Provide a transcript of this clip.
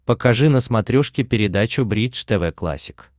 покажи на смотрешке передачу бридж тв классик